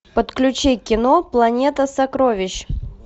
подключи кино планета сокровищ